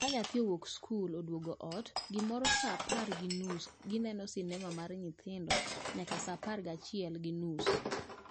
Ka nyathi owuok skul to oduogo ot, gimoro saa apar gi nus gineno sinema mag nyithindo nyaka saa apar gachiel gi nus